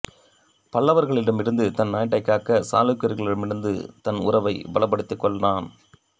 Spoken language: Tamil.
பல்லவர்களிடமிருந்து தன் நாட்டைக் காக்க சாளுக்கியர்களிடம் தன் உறவைப் பலப்படுத்திக்கொண்டான்